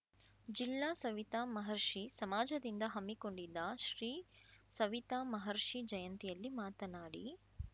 ಜಿಲ್ಲಾ ಸವಿತಾ ಮಹರ್ಷಿ ಸಮಾಜದಿಂದ ಹಮ್ಮಿಕೊಂಡಿದ್ದ ಶ್ರೀ ಸವಿತಾ ಮಹರ್ಷಿ ಜಯಂತಿಯಲ್ಲಿ ಮಾತನಾಡಿ